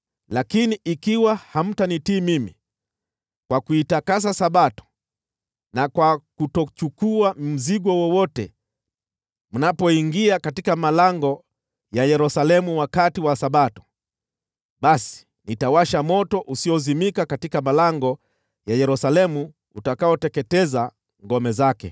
Lakini ikiwa hamtanitii mimi kwa kuitakasa Sabato na kwa kutochukua mzigo wowote mnapoingia katika malango ya Yerusalemu wakati wa Sabato, basi nitawasha moto usiozimika katika malango ya Yerusalemu utakaoteketeza ngome zake.’ ”